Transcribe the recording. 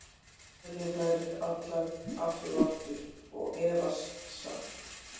Telja þær allar, aftur og aftur- og efast samt.